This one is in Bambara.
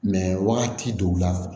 wagati dɔw la